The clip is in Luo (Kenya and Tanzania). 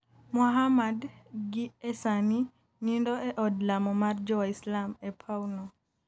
Muhammad gi e sani nindo e od lamo mar jo waislam e paw no